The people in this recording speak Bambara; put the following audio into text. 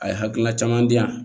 A ye hakilina caman di yan